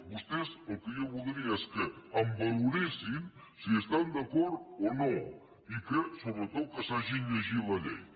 vostès el que jo voldria és que em valoressin si hi estan d’acord o no i sobretot que s’hagin llegit la llei